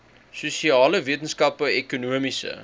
sosiale wetenskappe ekonomiese